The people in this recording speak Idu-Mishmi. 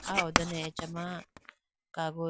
aw ho done achama kagoos.